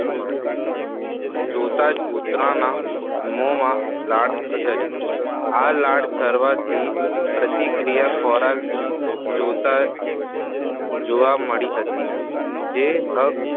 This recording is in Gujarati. જોતા જ કુતરાના મોમાં લાળ સરી આ લાળ સરવાથી પ્રતિક્રિયા ખોરાક જોતા જ જોવા મળી હતી જે હક